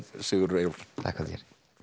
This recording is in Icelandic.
Sigurður Eyjólfsson þakka þér